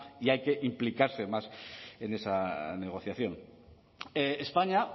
y hay que implicarse más en esa negociación españa